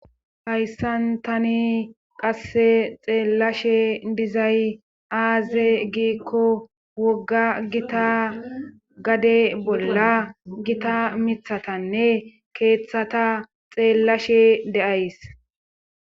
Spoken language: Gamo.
Hayssan tani qasse xeellashe dizay aaze giikko wogga gita gade bolla gita mithatanne keeththata xeellashe deays.